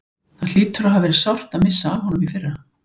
Það hlýtur að hafa verið sárt að missa af honum í fyrra?